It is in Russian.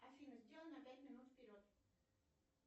афина сделай на пять минут вперед